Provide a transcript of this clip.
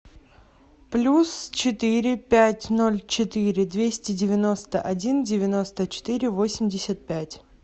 плюс четыре пять ноль четыре двести девяносто один девяносто четыре восемьдесят пять